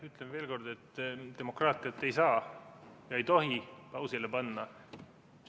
Ütlen veel kord, et demokraatiat ei saa ega tohi pausile panna.